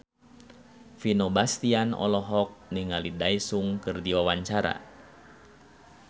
Vino Bastian olohok ningali Daesung keur diwawancara